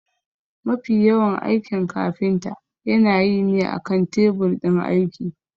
Mafi yawan aikin kafinta yana yi ne akan tebur ɗin aiki.